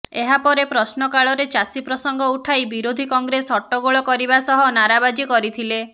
ଏହାପରେ ପ୍ରଶ୍ନକାଳରେ ଚାଷୀ ପ୍ରସଙ୍ଗ ଉଠାଇ ବିରୋଧି କଂଗ୍ରେସ ହଟ୍ଟଗୋଳ କରିବା ସହ ନାରାବାଜି କରିଥିଲେ